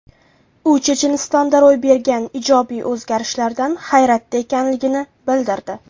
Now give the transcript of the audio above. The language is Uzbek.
U Chechenistonda ro‘y bergan ijobiy o‘zgarishlardan hayratda ekanligini bildirdi.